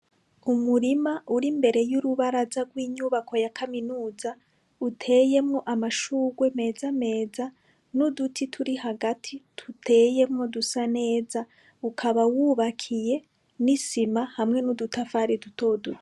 Umurima uri imbere y’urubaraza rw’inyubako ya kaminuza, uteyemwo amashugwe meza meza n’uduti turi hagati duteyemwo dusa neza, ukaba wubakiye n’isima hamwe n’udutafari duto duto.